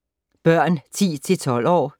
Børn 10-12 år